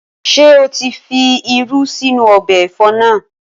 Ṣé o tí fi irú sínú ọbẹ̀ ẹ̀fọ́ naa?